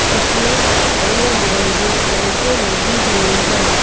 इसमें रंग बिरंगी लाइटें लगी हुई है।